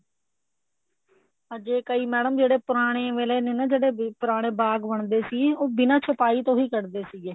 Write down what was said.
ਅਰ ਜੇ ਕਈ madam ਜਿਹੜੇ ਪੁਰਾਣੇ ਵੇਲੇ ਨੇ ਨਾ ਜਿਹੜੇ ਪੁਰਾਣੇ ਬਾਗ ਬਣਦੇ ਸੀ ਉਹ ਬਿਨਾਂ ਛਪਾਈ ਤੋਂ ਹੀ ਬਣਦੇ ਸੀਗੇ